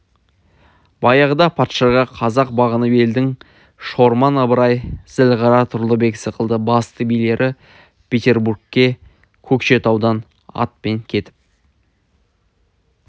баяғыда патшаға қазақ бағынып елдің шорман ыбырай зілғара тұрлыбек сықылды басты билері петербургке көкшетаудан атпен кетіп